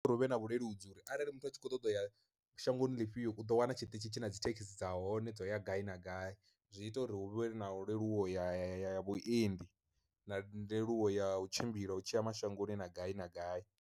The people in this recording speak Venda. Uri huvhe na vhuleludzi uri arali muthu a tshi kho ṱoḓa u ya shangoni lifhio u ḓo wana tshiṱitzhi tshi na dzi thekhisi dza hone dzo ya gai na gai, zwi ita uri hu vhe na leluwaho ya ya ya vhuendi na leluwo ya u tshimbila u tshiya mashangoni na gai na gai.